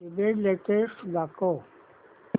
ईबझ लेटेस्ट दाखव